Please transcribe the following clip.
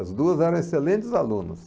As duas eram excelentes alunos.